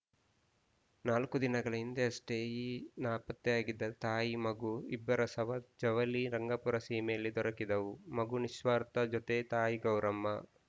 ನಾಲ್ಕು ದಿನಗಳ ಹಿಂದೆ ಯಷ್ಟೆಈ ನಾಪತ್ತೆಯಾಗಿದ್ದ ತಾಯಿ ಮಗು ಇಬ್ಬರ ಶವ ಜವಳಿ ಧಂಗಾಪುರ ಸೀಮೆಯಲ್ಲಿ ದೊರಕಿದ್ದವು ಮಗು ನಿಸ್ವಾರ್ಥ ಜೊತೆ ತಾಯಿ ಗೌರಮ್ಮ